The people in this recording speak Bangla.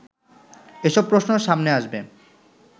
এসব প্রশ্ন সামনে আসবে